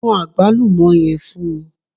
Mú àgbálùmó yẹn fún mi